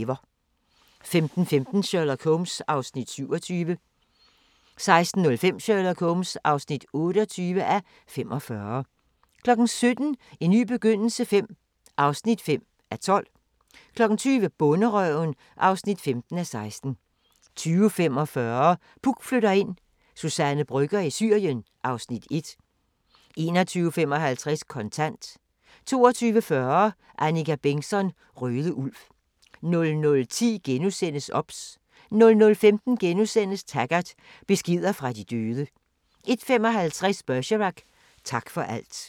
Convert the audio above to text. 15:15: Sherlock Holmes (27:45) 16:05: Sherlock Holmes (28:45) 17:00: En ny begyndelse V (5:12) 20:00: Bonderøven (15:16) 20:45: Puk flytter ind: Suzanne Brøgger i Syrien (Afs. 1) 21:55: Kontant 22:40: Annika Bengtzon: Røde Ulv 00:10: OBS * 00:15: Taggart: Beskeder fra de døde * 01:55: Bergerac: Tak for alt